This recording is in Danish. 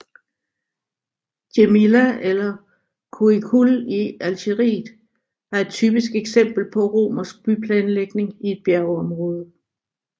Djémila eller Cuicul i Algeriet er et typisk eksempel på romersk byplanlægning i et bjergområde